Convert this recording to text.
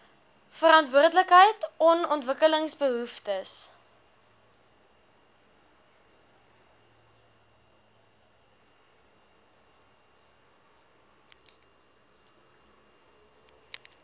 verantwoordelikheid on ontwikkelingsbehoeftes